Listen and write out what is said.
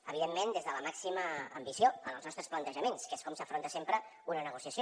evidentment des de la màxima ambició en els nostres plantejaments que és com s’afronta sempre una negociació